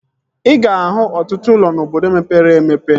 Ị ga-ahụ ọtụtụ ụlọ n'obodo mepere emepe